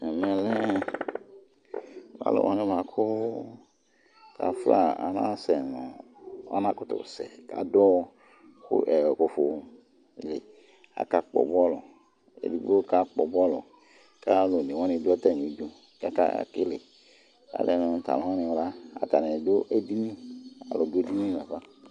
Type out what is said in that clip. Ɛmɛ lɛ alʋ wanɩ bʋa kʋ kafla, anasɛ nʋ,anakʋtʋ sɛ ,kadʋ ufumɔ li; aka kpʋbɔlʋ, edigbo ka kpʋbɔlʋ ,kalʋ one wanɩ dʋ atamɩdu kakaliAlɛ nʋ tʋ alʋ wanɩ la adʋ edini, alʋ dʋ edini la na fa